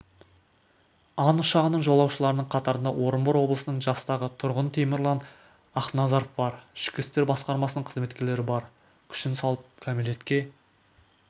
ан ұшағының жолаушыларының қатарында орынбор облысының жастағы тұрғынытемірлан ақназаровбар ішкі істер басқармасының қызметкерлері бар күшін салып кәмелетке